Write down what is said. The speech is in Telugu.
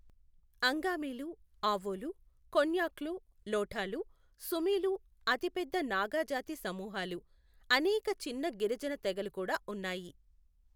అంగామిలు, ఆవోలు, కొన్యాక్లు, లోఠాలు, సుమీలు అతిపెద్ద నాగా జాతి సమూహాలు. అనేక చిన్న గిరిజన తెగలు కూడా ఉన్నాయి.